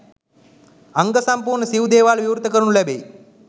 අංග සම්පූර්ණ සිව් දේවාලද විවෘත කරනු ලැබෙයි.